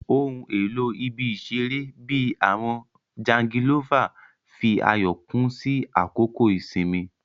Ohun elo ibi-iṣere, bii awọn jangilova, fi ayọ kún sí àkókò ìsinmi.